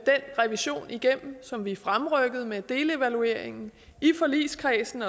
revision igennem som vi fremrykkede med delevalueringen i forligskredsen